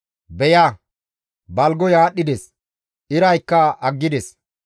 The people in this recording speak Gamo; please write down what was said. Beya, balgoy aadhdhides; iraykka aggides.